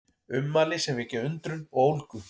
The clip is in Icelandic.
Ummæli sem vekja undrun og ólgu